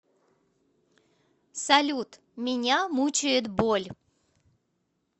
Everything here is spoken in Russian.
салют меня мучает боль